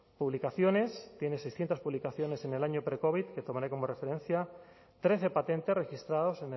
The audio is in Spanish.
publicaciones tienen seiscientos publicaciones en el año precovid que tomaré como referencia trece patentes registrados